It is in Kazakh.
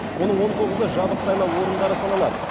оның он тоғызы жабық сайлау орындары саналады